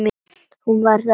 Hún var þá á lausu!